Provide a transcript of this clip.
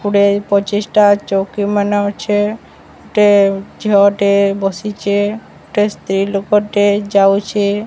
କୁଡେ ପଚିଶ ଟା ଚୌକି ମାନେ ଅଛେ ଗୋଟେ ଝିଅ ଟେ ବସିଚେ ଗୋଟେ ସ୍ତ୍ରୀ ଲୋକ ଟେ ଯାଉଛେ।